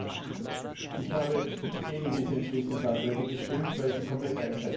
Ich habe gegen diese Entschließungsanträge gestimmt, weil sie komplett einseitig sind.